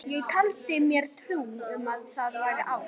Ég taldi mér trú um að það væri ást.